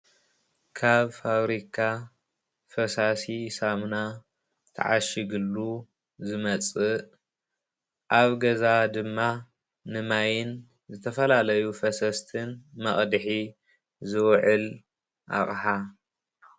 ካብ ፋብሪካ ፈሳሲ ሳሙና ተዓሺጉሉ ዝመፅእ ኣብ ገዛ ድማ ንማይን ዝተፈላለዩ ፈሰስትን መቕድሒ ዝዉዕል ኣቅሓ።